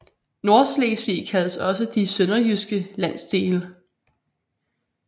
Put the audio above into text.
Nordslesvig kaldes også De sønderjyske landsdele